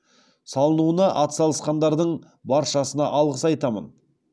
салынуына атсалысқандардың баршасына алғыс айтамын